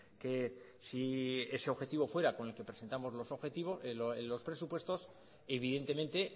que si ese objetivo fuera con el que presentamos los presupuestos evidentemente